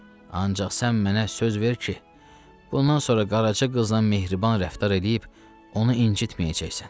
Ancaq sən mənə söz ver ki, bundan sonra qaraçı qızla mehriban rəftar eləyib, onu incitməyəcəksən.